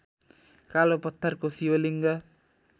कालो पत्थरको शिवलिङ्ग